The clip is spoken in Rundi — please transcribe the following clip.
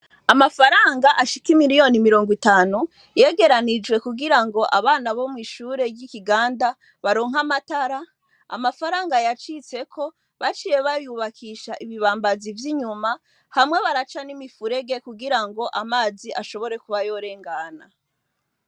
Amafaranga ashika i miliyoni mirongo itanu yegeranijwe kugira ngo abana bo mw'ishure ry'ikiganda baronka amatara amafaranga yacitseko baciye bayubakisha ibibambazi vy'inyuma hamwe baraca n'imifurege kugira ngo amazi ashobore kuba yorengana.